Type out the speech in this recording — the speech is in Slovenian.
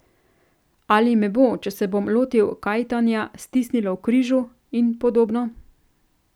Ali me bo, če se bom lotil kajtanja, stisnilo v križu, in podobno.